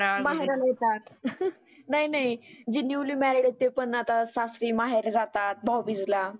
माहेरावून येतात. नाही नाही जे न्युली मॅरेड आहेत ते पण आता सासरी माहेरी जातात भाऊ बिजीला.